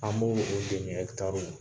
An b'o o demi ɛkitariw